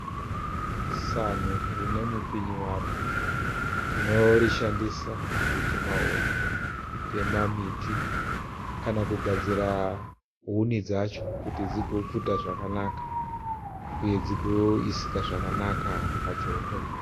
Sanhu rine mupinyi waro. Tinorishandisa kutema huni kutema miti kana kugadzira huni dzacho kuti dzigopfuta zvakanaka uye dzigoisika zvakanaka pachoto.